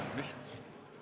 Mis?